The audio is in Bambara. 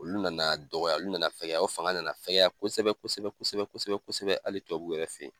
Olu nana dɔgɔya, olu nana fɛgɛya, o fanga nana fɛgɛya kosɛbɛ kosɛbɛ kosɛbɛ kosɛbɛ kosɛbɛ hali tubabu yɛrɛ fe yen.